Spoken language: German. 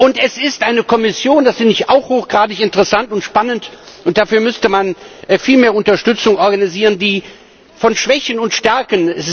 Und es ist eine Kommission das finde ich auch hochgradig interessant und spannend und dafür müsste man viel mehr Unterstützung organisieren mit Schwächen und Stärken.